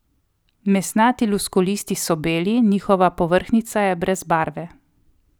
Mesnati luskolisti so beli, njihova povrhnjica je brez barve.